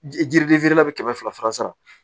Jiriden feerela bɛ kɛmɛ fila faransan